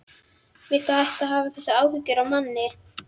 Viltu hætta að hafa þessar áhyggjur af manni!